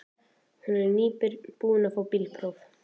Hún er nýbúin að fá bílpróf.